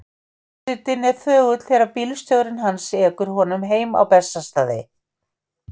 Forsetinn er þögull þegar bílstjórinn hans ekur honum heim á Bessastaði.